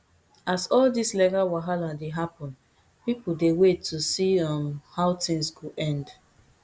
as all dis legal wahala dey happun pipo dey wait to see um how tins go end